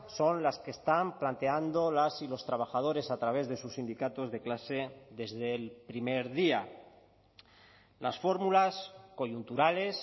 son las que están planteando las y los trabajadores a través de sus sindicatos de clase desde el primer día las fórmulas coyunturales